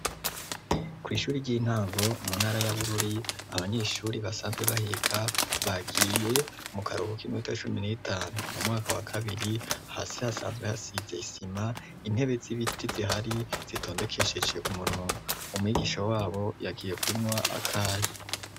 Kw'ishuri ry'intango mu ntara y'abururi abanyeshuri basanzwe bahiga bagiye mu karuhu k'imwota cumi n'etanu mu mwaka wa kabiri hasi hasanzwe hasize isima intebe z'ibiti zihari zitondekesheje umurongo umwigisho wabo yagiye kunywa akaya.